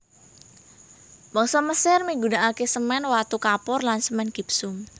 Bangsa Mesir migunakaké semèn watu kapur lan semèn gipsum